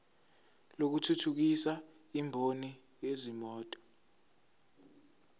lokuthuthukisa imboni yezimoto